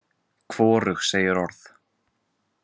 Hvorug segir orð.